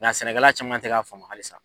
Nka sɛnɛkɛla caman tɛ k'a faamu halisa.